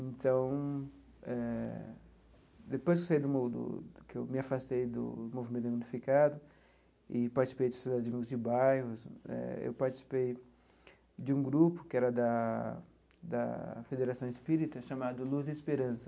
Então eh, depois que eu saí do mo do que eu me afastei do do movimento unificado e participei dos de bairros, eh eu participei de um grupo, que era da da Federação Espírita, chamado Luz e Esperança.